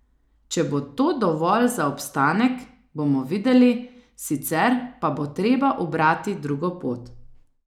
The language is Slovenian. Če bo to dovolj za obstanek, bomo videli, sicer pa bo treba ubrati drugo pot.